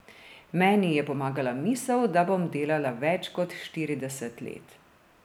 Meni je pomagala misel, da bom delala več kot štirideset let.